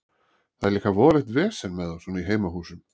Það er líka voðalegt vesen með þá svona í heimahúsum.